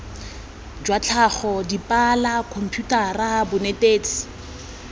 jwa tlhago dipalo khomputara bonetetshi